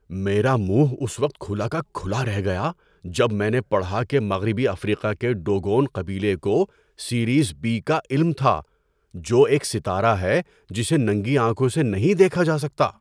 میرا منہ اس وقت کھلا کا کھلا رہ گیا جب میں نے پڑھا کہ مغربی افریقہ کے ڈوگون قبیلے کو سیریس بی کا علم تھا، جو ایک ستارہ ہے جسے ننگی آنکھوں سے نہیں دیکھا جا سکتا۔